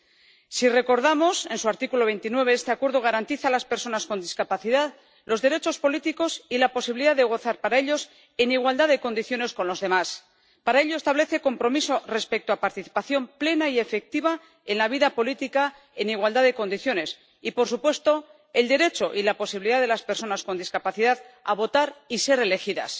Cabe recordar que, en su artículo 29, la Convención garantiza a las personas con discapacidad los derechos políticos y la posibilidad de gozar de ellos en igualdad de condiciones con los demás. Para ello, establece compromisos respecto a la participación plena y efectiva en la vida política en igualdad de condiciones y, por supuesto, el derecho y la posibilidad de las personas con discapacidad a votar y ser elegidas.